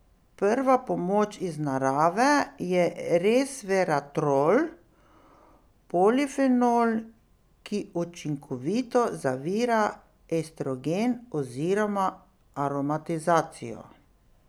Prva pomoč iz narave je resveratrol, polifenol, ki učinkovito zavira estrogen oziroma aromatizacijo.